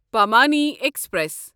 Pamani express